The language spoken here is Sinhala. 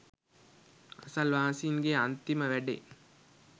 අසල්වාසීන්ගේ අන්තිම වැඩේ